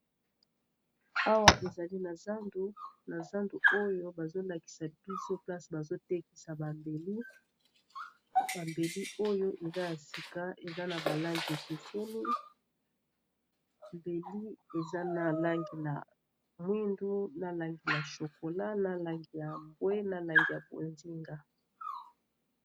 Awa ezali na zandu oyo bazolakisa biso place bazotekisa bambeli bambeli oyo eza ya sika eza na bal angi ekeseni mbeli eza na langi ya mwindu, na langi la chokola, na langi ya mbwe, na langi ya ponzinga.